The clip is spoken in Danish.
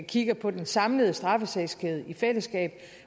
kigger på den samlede straffesagskæde i fællesskab